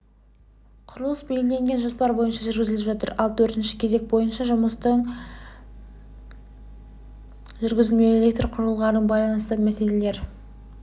құрылыс белгіленген жоспар бойынша жүргізіліп жатыр ал төртінші кезек бойынша жұмыстың жүргізілмеуі электр құрылғыларына байланысты мәселелер